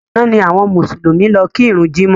Àná ni àwọn Mùsùlùmí lọ ki ìrun jímọ̀